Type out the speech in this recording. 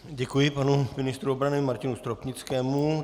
Děkuji panu ministru obrany Martinu Stropnickému.